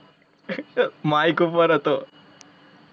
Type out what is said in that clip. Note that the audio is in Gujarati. Mike ઉપર હતો.